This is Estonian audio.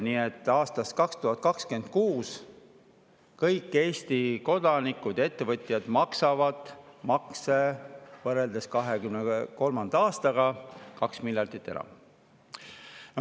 Nii et aastast 2026 maksavad Eesti kodanikud ja ettevõtjad võrreldes 2023. aastaga makse 2 miljardit enam.